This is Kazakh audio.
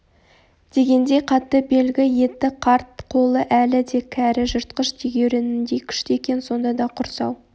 дегендей қатты белгі етті қарт қолы әлі де кәрі жыртқыш тегеуірініндей күшті екен сонда да құрсау